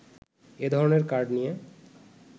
এ ধরণের কার্ড নিয়ে